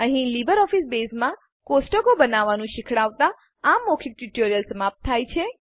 અહીં લીબરઓફીસ બેઝમાં ટેબલો કોષ્ટકો બનાવવાનું શીખવાડતાં આ મૌખિક ટ્યુટોરીયલ સમાપ્ત થાય છે